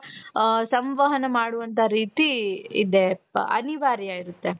ಅ ಸಂವಾಹನ ಮಾಡುವಂತ ರೀತಿ ಇದೆಪ್ಪ ಅನಿವಾರ್ಯ ಇರುತ್ತೆ .